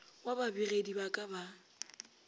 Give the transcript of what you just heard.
wa babegedi ba ka ba